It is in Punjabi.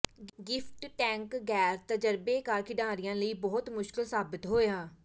ਗਿਫਟ ਟੈਂਕ ਗੈਰ ਤਜਰਬੇਕਾਰ ਖਿਡਾਰੀਆਂ ਲਈ ਬਹੁਤ ਮੁਸ਼ਕਿਲ ਸਾਬਤ ਹੋਇਆ